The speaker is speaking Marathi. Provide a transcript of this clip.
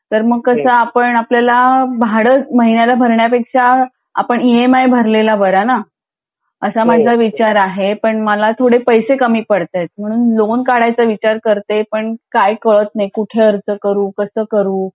तर मग कसं आपण आपला भाडं महिन्याला भरण्यापेक्षा आपण ई एम आय भरलेला बरा ना असा माझा विचार आहे पण मला थोडे पैसे कमी पडतात म्हणून मी लोन घाययचा विचार करते पण काय कळत नाही कुठे अर्ज करू कसं करू